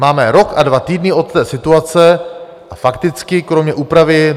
Máme rok a dva týdny od té situace a fakticky kromě úpravy...